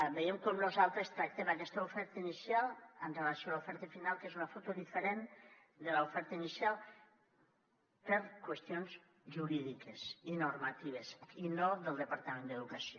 veiem com nosaltres tractem aquesta oferta inicial amb relació a l’oferta final que és una foto diferent de l’oferta inicial per qüestions jurídiques i normatives i no del departament d’educació